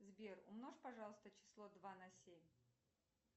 сбер умножь пожалуйста число два на семь